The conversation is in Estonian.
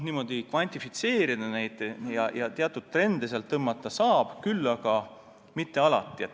Niimoodi kvantifitseerida ja teatud trende fikseerida saab, aga mitte alati.